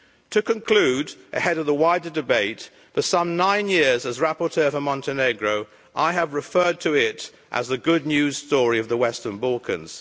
To conclude, ahead of the wider debate for some nine years as rapporteur for Montenegro, I have referred to it as the good news story' of the Western Balkans.